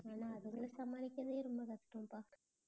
ஆனா அதுங்களை சமாளிக்கறதே ரொம்ப கஷ்டம்தான்